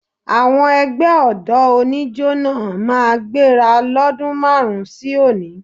Àwọn ẹgbẹ́ ọ̀dọ́ oníjo náà máa gbéra lọ́dún márùn-ún sí òní